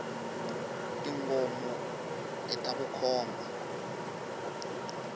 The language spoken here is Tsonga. tingomo ita vukhomba